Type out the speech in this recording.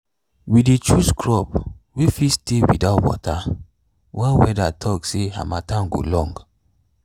we dey choose crop way fit stay without water when weather talk say harmattan go long.